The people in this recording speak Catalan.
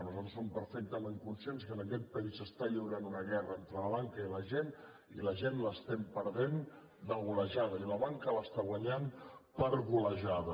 nosaltres som perfectament conscients que en aquest país s’està lliurant una guerra entre la banca i la gent i la gent l’estem perdent de golejada i la banca l’està guanyant per golejada